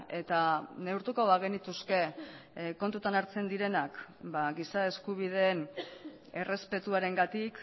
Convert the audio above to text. eta neurtuko bagenituzke kontuan hartzen direnak giza eskubideen errespetuarengatik